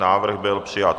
Návrh byl přijat.